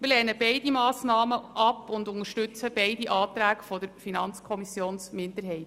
Wir lehnen beide Massnahmen ab und unterstützen beide Anträge der FiKo-Minderheit.